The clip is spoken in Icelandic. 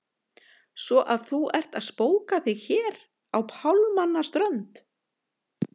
Svo að þú ert að spóka þig hér á pálmanna strönd!